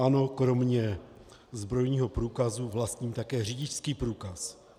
Ano, kromě zbrojního průkazu vlastním také řidičský průkaz.